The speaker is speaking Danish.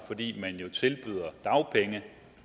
fordi man jo tilbyder dagpenge